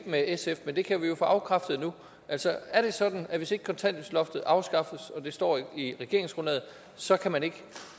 med sf men det kan vi jo få afkræftet nu altså er det sådan at hvis ikke kontanthjælpsloftet afskaffes og det står i regeringsgrundlaget så kan man ikke